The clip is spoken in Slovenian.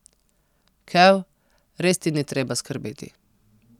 Kev, res ti ni treba skrbeti.